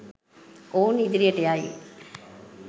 ඔවුන් ඉදිරියට යයි